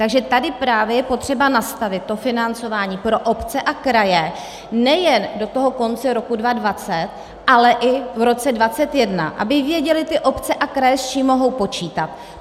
Takže tady je právě potřeba nastavit to financování pro obce a kraje nejen do toho konce roku 2020, ale i v roce 2021, aby věděly ty obce a kraje, s čím mohou počítat.